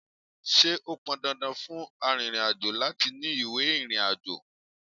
Ṣé ó pọn dandan fún arìnrìn-àjò láti ní ìwé ìrìnàjò?